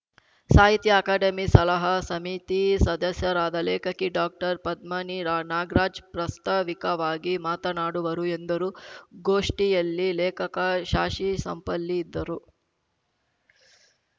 ಸಾಹಿತ್ಯ ಅಕಾಡೆಮಿ ಸಲಹಾ ಸಮಿತಿ ಸದಸ್ಯರಾದ ಲೇಖಕಿ ಡಾಕ್ಟರ್ ಪದ್ಮನಿ ರಾ ನಾಗ್ರಾಜ್‌ ಪ್ರಸ್ತಾವಿಕವಾಗಿ ಮಾತನಾಡುವರು ಎಂದರು ಗೋಷ್ಠಿಯಲ್ಲಿ ಲೇಖಕ ಶಾಶಿಸಾಂಪಳ್ಳಿ ಇದ್ದರು